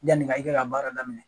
Yanni ka i ka baara daminɛ